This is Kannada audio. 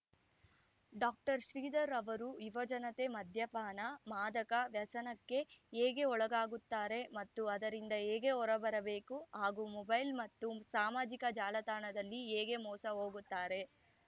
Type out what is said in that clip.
ಡಾಕ್ಟರ್ ಶ್ರೀಧರ್‌ ಅವರು ಯುವ ಜನತೆ ಮದ್ಯಪಾನ ಮಾದಕ ವ್ಯಸನಕ್ಕೆ ಹೇಗೆ ಒಳಗಾಗುತ್ತಾರೆ ಮತ್ತು ಅದರಿಂದ ಹೇಗೆ ಹೊರಬರಬೇಕು ಹಾಗೂ ಮೊಬೈಲ್‌ ಮತ್ತು ಸಾಮಾಜಿಕ ಜಾಲತಾಣದಲ್ಲಿ ಹೇಗೆ ಮೋಸಹೋಗುತ್ತಾರೆ